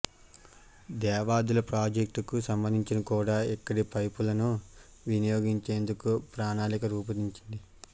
దేవాదుల ప్రాజెక్టుకు సంబంధించి కూడా ఇక్కడి పైపులను వినియోగించేందుకు ప్రణాళిక రూపొందించింది